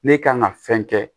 Ne kan ka fɛn kɛ